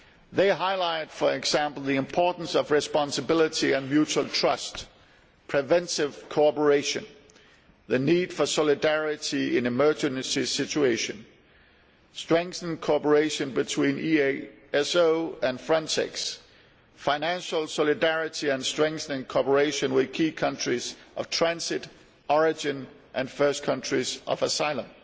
They highlight, for example, the importance of responsibility and mutual trust, preventive cooperation, the need for solidarity in emergency situations, strengthened cooperation between EASO and Frontex, financial solidarity and strengthening cooperation with key countries of transit, origin and first countries of asylum.